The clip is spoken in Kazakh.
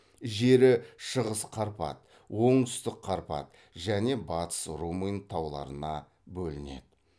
жері шығыс қарпат оңтүстік қарпат және батыс румын тауларына бөлінеді